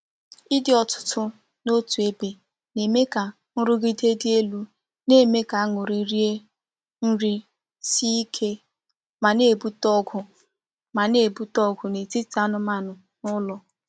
Ịdị ọtụtụ n’otu ebe na-eme ka nrụgide dị elu, na-eme ka anụrị rie nri sie ike, ma na-ebute ọgụ ma na-ebute ọgụ n’etiti anụmanụ n’ụlọ.